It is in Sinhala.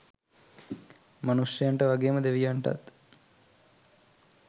මනුෂ්‍යයන්ට වගේම දෙවියන්ටත්